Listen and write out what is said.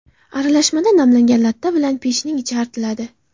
Aralashmada namlanmagan latta bilan pechning ichi artiladi.